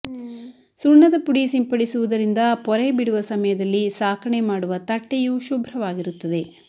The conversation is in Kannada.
ಸುಣ್ಣದ ಪುಡಿ ಸಿಂಪಡಿಸುವುದರಿಂದ ಪೊರೆಬಿಡುವ ಸಮಯದಲ್ಲಿ ಸಾಕಣೆ ಮಾಡುವ ತಟ್ಟೆಯೂ ಶುಭ್ರವಾಗಿರುತ್ತದೆ